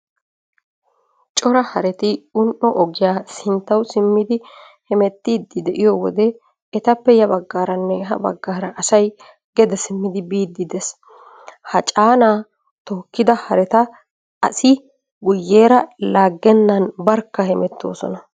Cora hareti un''o ogiya sinttawu simmidi hamettiiddi de'iyo wode etappe ya baggaaranne ha baggaara asay gede simmidi biiddi dees. Ha caanaa tookkida hareta asi guyyeera laaggennan barkka hemettoosona.